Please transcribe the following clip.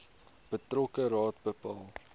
betrokke raad bepaal